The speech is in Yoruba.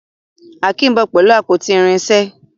Akeem nbọ pẹlú àpótí irinṣẹ́